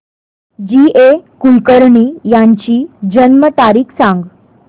जी A Kulkarni यांची जन्म तारीख सांग